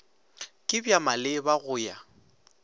ke bja maleba go ya